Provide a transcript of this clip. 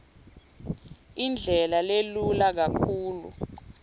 indlela lelula kakhulu